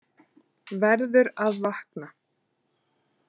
Verður að vakna.